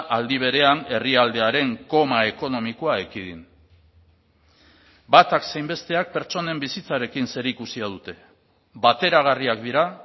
aldi berean herrialdearen koma ekonomikoa ekidin batak zein besteak pertsonen bizitzarekin zerikusia dute bateragarriak dira